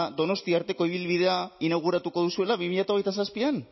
donostia arteko ibilbidea inauguratuko duzuela bi mila hogeita zazpian